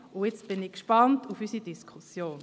Jetzt bin ich gespannt auf unsere Diskussion.